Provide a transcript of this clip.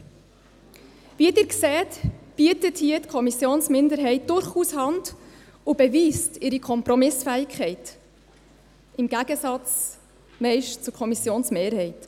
Wie Sie sehen, bietet hier die Kommissionsminderheit durchaus Hand und beweist ihre Kompromissfähigkeit – im Gegensatz meist zur Kommissionsmehrheit.